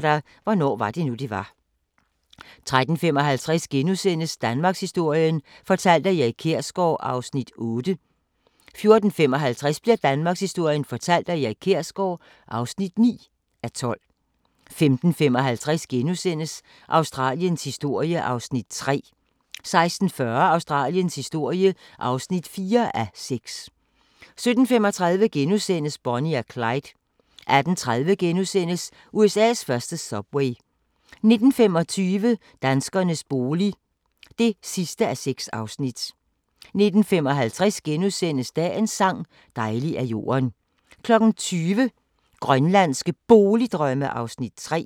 13:10: Hvornår var det nu, det var? 13:55: Danmarkshistorien fortalt af Erik Kjersgaard (8:12)* 14:55: Danmarkshistorien fortalt af Erik Kjersgaard (9:12) 15:55: Australiens historie (3:6)* 16:40: Australiens historie (4:6) 17:35: Bonnie og Clyde * 18:30: USA's første subway * 19:25: Danskernes bolig (6:6) 19:55: Dagens sang: Dejlig er jorden * 20:00: Grønlandske Boligdrømme (3:4)